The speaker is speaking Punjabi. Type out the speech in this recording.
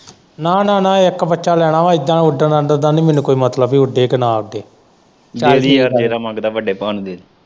ਨਾ-ਨਾ ਇੱਕ ਬੱਚਾ ਲੈਣਾ ਵਾਂ ਏਦਾ ਉੱਡਣ ਦਾ ਨੀ ਮੈਨੂੰ ਕੋਈ ਮਤਲਬ ਉੱਡੇ ਕੇ ਨਾ ਉੱਡੇ।